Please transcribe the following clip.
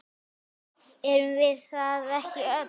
Erum við það ekki öll?